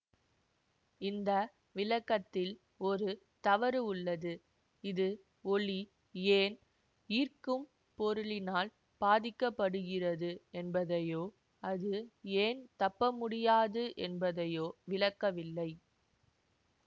இந்த விளக்கத்தில் ஒரு தவறு உள்ளது இது ஒளி ஏன் ஈர்க்கும் பொருளினால் பாதிக்க படுகிறது என்பதையோ அது ஏன் தப்பமுடியாது என்பதையோ விளக்கவில்லை